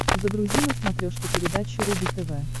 загрузи на смотрешке передачу рубль тв